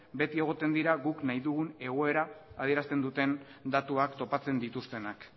beti egoten dira guk nahi dugun egoera adierazten duten datuak topatzen dituztenak